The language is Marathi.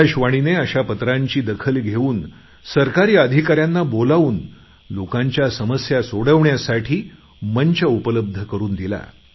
आकाशवाणीने अशा पत्रांची दखल घेऊन सरकारी अधिकाऱ्यांना बोलावून लोकांच्या समस्या सोडवण्यासाठी मंच उपलब्ध करून दिला